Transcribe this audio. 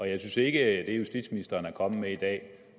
jeg synes ikke at det justitsministeren er kommet med i dag